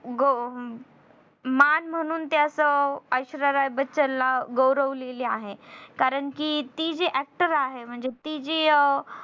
गौ मान म्हणून त्याच ऐश्वर्या राय बच्चन ला गौरवलेली आहे. कारण कि ती जी actor आहे. ती जी